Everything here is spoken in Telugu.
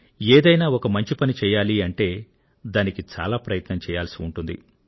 ఏదైనా ఒక మంచి పని చేయాలి అంటే దానికి చాలా ప్రయత్నం చేయాల్సి ఉంటుంది